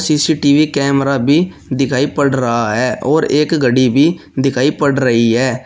CCTV camera भी दिखाई पड़ रहा है और एक घड़ी भी दिखाई पड़ रही है।